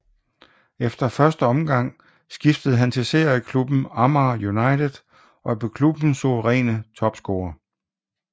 Efter første omgang skiftede han til serieklubben Amager United og blev klubbens suveræne topscorer